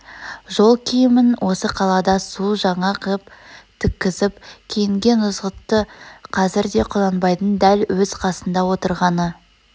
жол киімін осы қалада су жаңа қып тіккізіп киінген ызғұтты қазір де құнанбайдың дәл өз қасында отырғаны